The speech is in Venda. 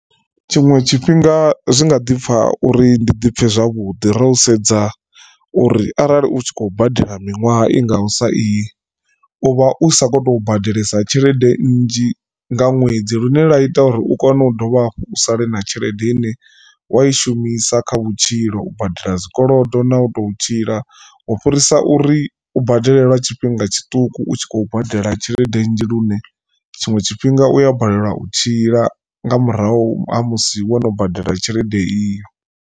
Tshiṅwe tshifhinga zwi nga ḓi pfha uri ndi ḓi pfhe zwavhuḓi ro sedza uri arali u tshi khou badela miṅwaha i ngaho sa iyi uvha u sa kho to badelesa tshelede, nnzhi nga ṅwedzi lune lwa ita uri u kone u dovha hafhu u sale na tshelede ine wa i shumisa kha vhutshilo u badela zwikolodo na u to tshila u fhirisa uri u badele lwa tshifhinga tshiṱuku utshi khou badela tshelede nnzhi lune tshiṅwe tshifhinga u ya balelwa u tshila nga murahu ha musi wo no badela tshelede iyo.